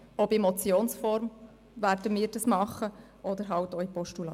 Wir würden ihn sowohl in Form einer Motion überweisen als auch als Postulat.